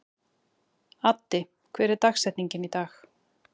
Addi, hver er dagsetningin í dag?